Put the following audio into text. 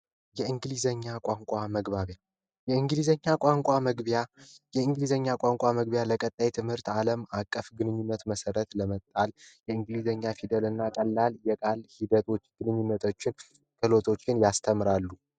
የእንግሊዘኛ ቋንቋ መግባቢያ የእንግሊዘኛ ቋንቋ መግቢያ ለቀጣይ ትምህርት አለም አቀፍ ግንኙነት መሰረት ለመጣል የእንግሊዘኛ ፊደልና ቀላል የቃል ሂደቶችን ግንኙነቶችን ያስተምራሉ።